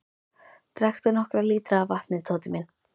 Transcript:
Drekktu nokkra lítra af vatni, Tóti minn.